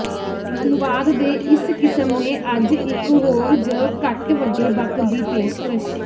ਅਨੁਵਾਦ ਦੇ ਇਸ ਕਿਸਮ ਨੇ ਅੱਜ ਇਕ ਹੋਰ ਜ ਘੱਟ ਵੱਡੇ ਬਕ ਦੀ ਪੇਸ਼ਕਸ਼